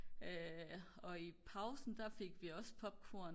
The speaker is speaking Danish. og i pausen der fik vi også popcorn